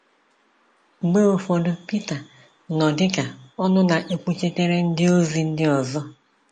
Mgbe ụfọdụ Pita nọ dị ka ọnụ na-ekwuchitere ndiozi ndị ọzọ.